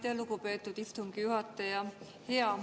Aitäh, lugupeetud istungi juhataja!